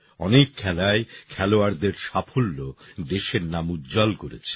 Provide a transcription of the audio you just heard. অনেক খেলায় খেলোয়াড়দের সাফল্য দেশের নাম উজ্জ্বল করেছে